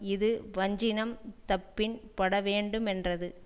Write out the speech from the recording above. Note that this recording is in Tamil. இது வஞ்சினம் தப்பின் படவேண்டுமென்றது